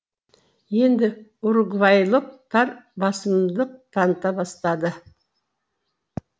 енді уругвайлықтар басымдық таныта бастады